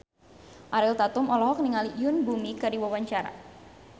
Ariel Tatum olohok ningali Yoon Bomi keur diwawancara